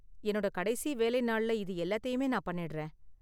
என்னோட கடைசி வேலை நாள்ல இது எல்லாத்தையுமே நான் பண்ணிடுறேன்.